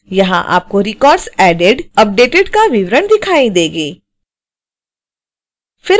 यहां आपको records added updated का विवरण दिखाई देंगे